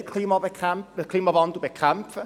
Wir wollen den Klimawandel bekämpfen.